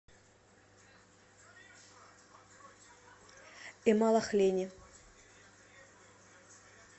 эмалахлени